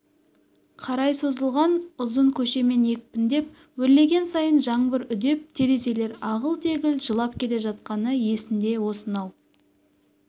қарай созылған ұзын көшемен екпіндеп өрлеген сайын жаңбыр үдеп терезелер ағыл-тегіл жылап келе жатқаны есінде осынау